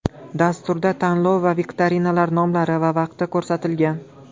Dasturda tanlov va viktorinalar nomlari va vaqti ko‘rsatilgan.